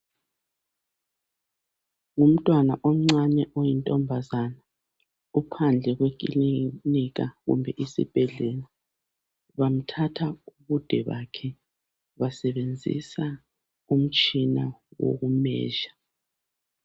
Ngumntwana omncane oyintombazana ophandle kwekilinika kumbe isibhedlela. Bamthatha ubude bakhe, basebenzisa umtshina woku"measure".